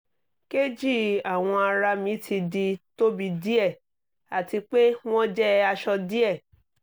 keji awọn ara mi ti di tobi diẹ ati pe wọn jẹ asọ diẹ